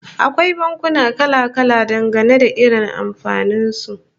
Akwai bankuna kala-kala, dangane da irin amfanin su